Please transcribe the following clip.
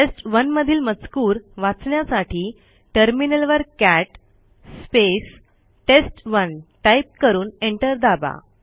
टेस्ट1 मधील मजकूर वाचण्यासाठी टर्मिनलवर कॅट test1टाईप करून एंटर दाबा